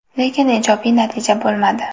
Lekin ijobiy natija bo‘lmadi.